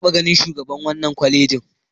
Na taɓa ganin shugaban wannan kwalejin.